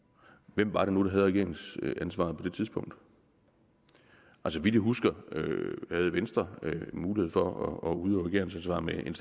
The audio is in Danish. hvem var det nu der havde regeringsansvaret på det tidspunkt så vidt jeg husker havde venstre mulighed for at udøve regeringsansvar med en